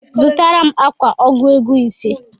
Zụtara m akwa ọgụ ego ise